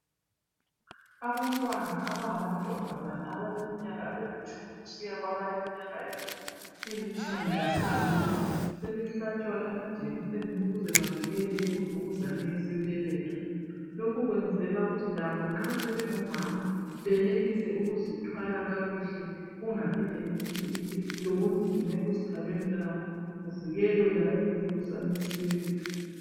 Abantwana abangamantombazana abeleminyaka elitshumi kusiya kunyaka elitshumi lasithupha sebehlatshwa amajekiseni ukuze bavikele imvukuzane yesibeletho. Lokhu kwenzela ukuthi lobo nxa sebengomama benelise ukuzithwala kakuhle kungabi lobunzima ekuzithwaleni kwabo kuvikelela imvukuzane yesibeletho.